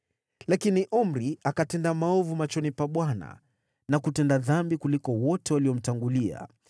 Lakini Omri akatenda maovu machoni pa Bwana na kutenda dhambi kuliko wote waliomtangulia.